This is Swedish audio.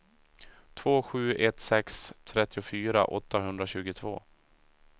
två sju ett sex trettiofyra åttahundratjugotvå